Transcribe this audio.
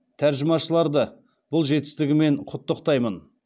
тәржімашыларды бұл жетістігімен құттықтаймын